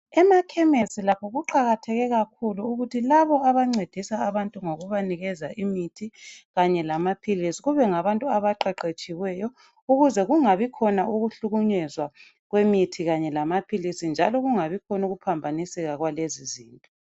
Emakhemesi lakho kuqakatheke kakhuluukuthi labo abancedisa abantu ngokubanikeza imithi kanye lamaphilisi kube ngabantu abaqeqetshiweyo ukuze kungabi khona ukuhlukunyezwa kwemithi kanye lamaphilisi njalo kungabi khona ukuphambaniseka kwalezi izinto.